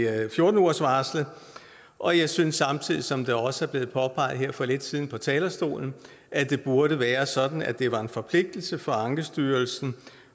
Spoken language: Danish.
af fjorten ugersvarslet og jeg synes samtidig som det også blev påpeget her for lidt siden fra talerstolen at det burde være sådan at det var en forpligtelse for ankestyrelsen